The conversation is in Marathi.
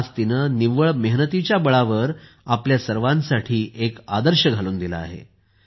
आज तिने निव्वळ मेहनतीच्या बळावर आपल्या सर्वांसाठी एक आदर्श घालून दिला आहे